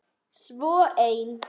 Svo ein.